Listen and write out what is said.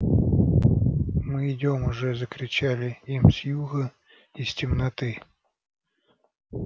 мы идём уже закричали им с юга из темноты